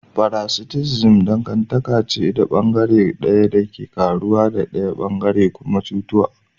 Paraticism dangantaka ce da bangare daya yake karuwa daya bangaren kuma yake cutuwa.